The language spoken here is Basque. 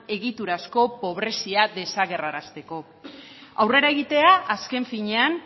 egiturazko pobrezia desagerrarazteko aurrera egitea azken finean